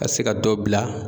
Ka se ka dɔ bila